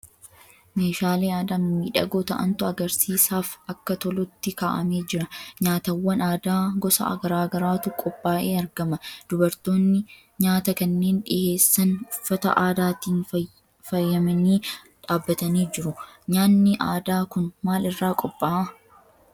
Meeshaalee aadaa mimmiidhagoo ta'antu agarsiisaaf akka tolutti kaa'amee jira. Nyaatawwan aadaa gosa garaa garaatu qophaa'ee argama. Dubartoonni nyaata kanneen dhiheessan uffata aadaatiin faayamanii dhaabbatanii jiru. Nyaatni aadaa kun maal irraa qophaa'a?